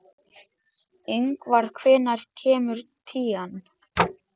Ingvar, hvenær kemur tían?